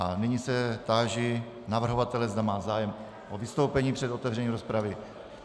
A nyní se táži navrhovatele, zda má zájem o vystoupení před otevřením rozpravy.